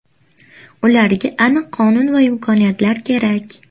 Ularga aniq qonun va imkoniyatlar kerak.